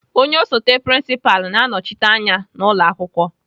Onye osote prinsipalụ na-anọchite anya n'ụlọakwụkwọ.